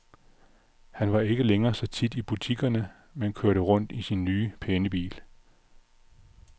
Han var ikke længere så tit i butikkerne, men kørte rundt i sin nye, pæne bil.